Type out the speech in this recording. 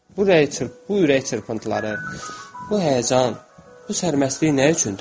Bu bu ürək çırpıntıları, bu həyəcan, bu sərməstlik nə üçündür?